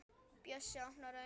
Bjössi opnar augun.